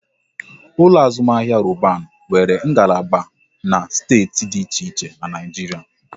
Ụlọ azụmahịa Roban nwere ngalaba na steeti dị iche iche n'Naijiria